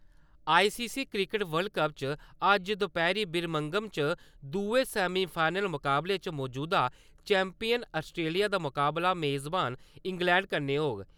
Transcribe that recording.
ICC cricket world cup च अज्ज दपैह्‌री बिरमिंघम च दुए सेमिफाइनल मुकाबले च मजूदा चैंपियन अस्ट्रेलिया दा मुकाबला मेज़बान इंग्लैंड कन्नै होग।